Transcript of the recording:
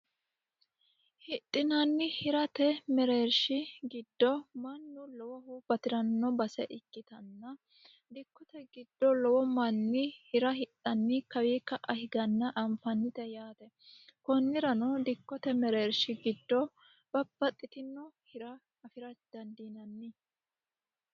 Hidhinanni hirate mereershi giddo batirano base ikkittanna dikkote giddo lowo manni hira hidhanni kawa ka'a higganna anfannite yaate konnirano dikkote mereershi giddo babbaxitino hira dandiinanni.